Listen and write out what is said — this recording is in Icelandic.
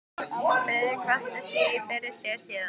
Friðrik velti því fyrir sér síðar.